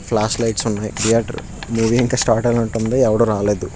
Flash లో ఇచ్చుంది theatre . Movie ఇంకా స్టార్ట్ అవనట్టుంది ఎవడు రాలేదు.